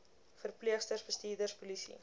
verpleegsters bestuurders polisie